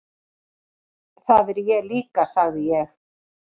Það er ég líka sagði ég.